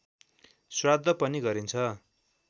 श्राद्ध पनि गरिन्छ